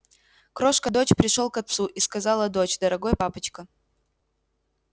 крошка дочь пришёл к отцу и сказала доча дорогой папочка